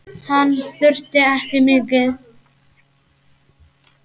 Hann þurfti ekki mikið.